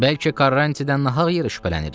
Bəlkə Karrantidən nahaq yerə şübhələnirik.